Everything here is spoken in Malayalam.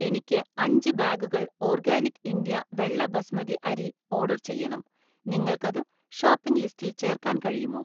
എനിക്ക് അഞ്ച് ബാഗുകൾ ഓർഗാനിക് ഇന്ത്യ വെള്ള ബസ്മതി അരി ഓർഡർ ചെയ്യണം, നിങ്ങൾക്കത് ഷോപ്പിംഗ് ലിസ്റ്റിൽ ചേർക്കാൻ കഴിയുമോ?